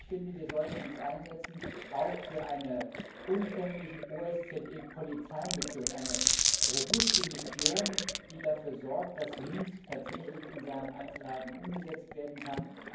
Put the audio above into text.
Und ich finde, wir sollten uns auch für eine umfängliche OSZE Polizeimission einsetzen, eine robuste Mission, die dafür sorgt, dass Minsk tatsächlich in seinen Einzelheiten umgesetzt werden kann.